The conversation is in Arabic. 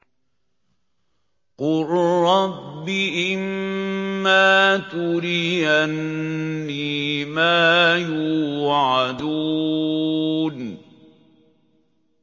قُل رَّبِّ إِمَّا تُرِيَنِّي مَا يُوعَدُونَ